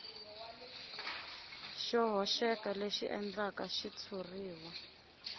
xo hoxeka leswi endlaka xitshuriwa